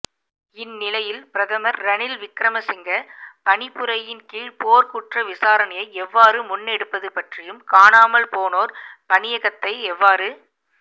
இந்நிலையில் பிரதமர் ரணில் விக்கிரமசிங்க பணிப்புரையின் கீழ் போர்க்குற்ற விசாரணையை எவ்வாறு முன்னெடுப்பது பற்றியும் காணாமல் போனோர் பணியகத்தை எவ்வாறு